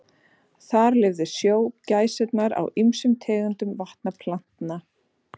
Þar lifðu snjógæsirnar á ýmsum tegundum vatnaplantna.